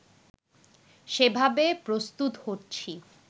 সেভাবে প্রস্তুত হচ্ছি